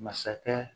Masakɛ